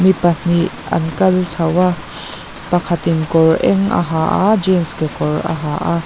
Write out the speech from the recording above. mipahnih an kal chho a pakhat in kawr eng a ha a jeans kekawr a ha a.